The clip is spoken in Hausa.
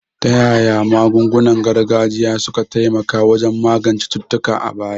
Ta yaya magungunan gargajiya suka taimaka wajen magance cututtuka a baya?